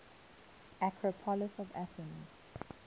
acropolis of athens